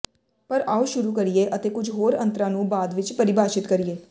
ਪਰ ਆਉ ਸ਼ੁਰੂ ਕਰੀਏ ਅਤੇ ਕੁਝ ਹੋਰ ਅੰਤਰਾਂ ਨੂੰ ਬਾਅਦ ਵਿੱਚ ਪਰਿਭਾਸ਼ਿਤ ਕਰੀਏ